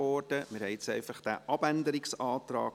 Wir haben jetzt einfach diesen Abänderungsantrag